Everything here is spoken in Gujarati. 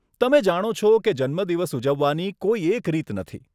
તમે જાણો છો કે જન્મદિવસ ઉજવવાની કોઈ એક રીત નથી.